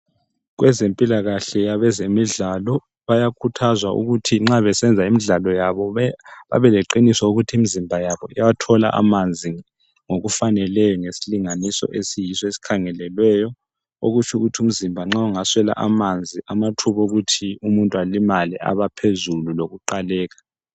Kwezempilakahle abezemidlalo bayakhuthazwa ukuthi nxa besenza imidlalo yabo babe leqiniso ukuthi imizimba yabo iyathola amanzi ngokufaneleyo ngesilinganiso esiyiso esikhangelelweyo .Okutsho ukuthi umzimba nxa ungaswela amanzi amathuba okuthi umuntu alimale abangaphezulu lokuqaleka .